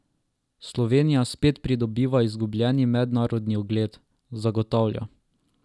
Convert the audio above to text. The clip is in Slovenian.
Slovenija spet pridobiva izgubljeni mednarodni ugled, zagotavlja.